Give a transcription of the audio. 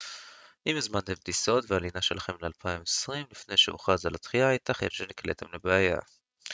אם הזמנתם את הטיסות והלינה שלכם ל-2020 לפני שהוכרז על הדחייה ייתכן שנקלעתם לבעיה